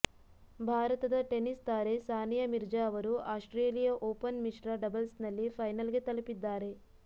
ಭಾರತದ ಟೆನಿಸ್ ತಾರೆ ಸಾನಿಯಾ ಮಿರ್ಜಾ ಅವರು ಆಸ್ಟ್ತ್ರೇಲಿಯಾ ಓಪನ್ ಮಿಶ್ರ ಡಬಲ್ಸ್ನಲ್ಲಿ ಫೈನಲ್ಗೆ ತಲುಪಿದ್ದಾರೆ